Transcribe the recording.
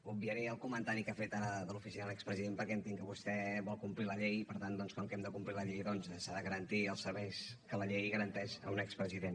obviaré el comentari que ha fet ara de l’oficina de l’expresident perquè entenc que vostè vol complir la llei i per tant doncs com que hem de complir la llei s’han de garantir els serveis que la llei garanteix a un expresident